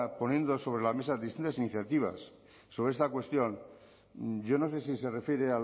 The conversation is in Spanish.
poniendo sobre la mesa distintas iniciativas sobre esta cuestión yo no sé si se refiere